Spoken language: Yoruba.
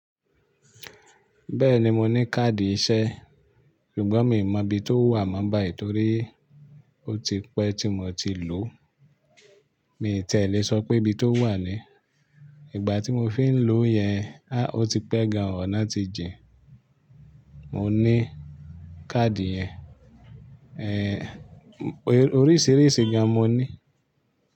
Bẹ́ẹ̀ni mo ní káàdì iṣẹ́, ṣùgbọ́n mi mọ ibi tó wà mọ́ bàì, torí ó ti pẹ́ tí mo ti lò. Mi tẹ́lẹ̀ sọ pé ibi tó wà ni. Ìgbà tí mo fí ń lò yẹn, a, ó ti pẹ́ gan àn, ó náà ti jìn. Mo ní káàdì yẹn. Oríṣìíríṣìí gan mo ní.